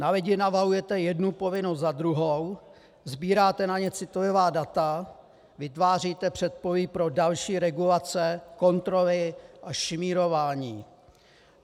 Na lidi navalujete jednu povinnost za druhou, sbíráte na ně citlivá data, vytváříte předpolí pro další regulace, kontroly a šmírování.